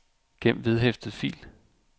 gem vedhæftet fil